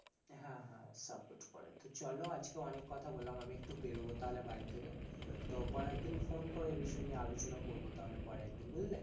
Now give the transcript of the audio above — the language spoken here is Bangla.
হ্যাঁ হ্যাঁ support করে, তো চলো আজকে অনেক কথা বললাম, আমি একটু বেরোবো তাহলে বাড়ি থেকে তো পরে একদিন phone করো এই বিষয় নিয়ে আলোচনা করবো তাহলে পরে একদিন বুঝলে,